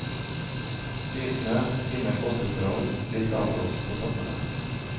Nysnø, fine påskeforhold, litt avblåst på toppene.